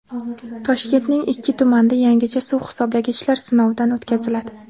Toshkentning ikki tumanida yangicha suv hisoblagichlar sinovdan o‘tkaziladi.